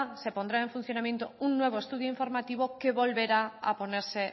se pondrá en funcionamiento un nuevo estudio informativo que volverá a ponerse